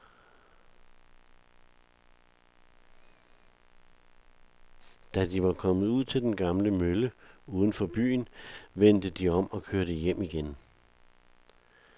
Da de var kommet ud til den gamle mølle uden for byen, vendte de om og kørte hjem igen.